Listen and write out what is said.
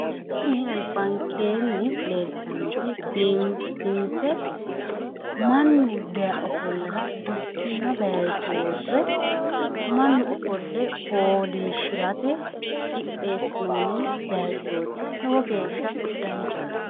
tini albankeenni leeltanoti biifinse mannu dayee ofollara gottiima bayiicho worre manni ofolle fooliishshirara worroonni bayiichooti lowo geeshsha danchaho.